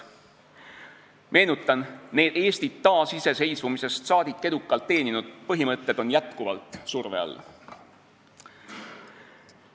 Meenutan, et need Eestit taasiseseisvumisest saadik edukalt teeninud põhimõtted on jätkuvalt surve all.